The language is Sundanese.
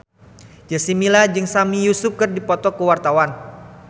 Jessica Milla jeung Sami Yusuf keur dipoto ku wartawan